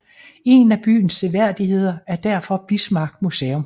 En af byens seværdigheder er derfor Bismarck Museum